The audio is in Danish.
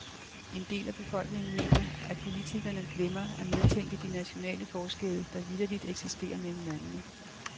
En del af befolkningen mener, at politikerne glemmer at medtænke de nationale forskelle, der vitterligt eksisterer mellem landene.